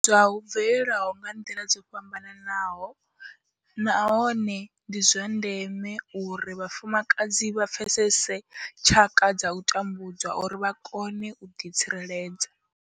U tambudzwa hu bvelela nga nḓila dzo fhambanaho nahone ndi zwa ndeme uri vhafumakadzi vha pfesese tshaka dza u tambudzwa uri vha kone u ḓi tsireledza.